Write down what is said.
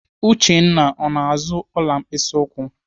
Uchenna ọ na-azụ ọla mkpịsị ụkwụ?